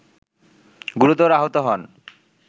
গুরুতর আহত হন